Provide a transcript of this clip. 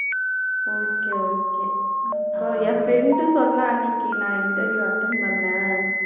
okay okay இப்போ என் friend சொன்னா அன்னைக்கு நான் interview attend பண்ணேன்